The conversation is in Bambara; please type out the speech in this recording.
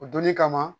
O donni kama